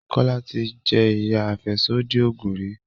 Kola tí jé iya afẹsodi oògùn rí.